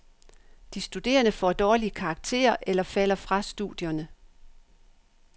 De studerende får dårlige karakterer eller falder fra studierne.